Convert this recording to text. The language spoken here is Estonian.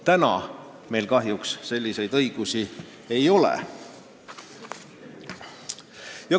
Praegu meil kahjuks selliseid õigusi ei ole.